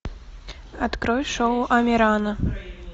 открой шоу амирана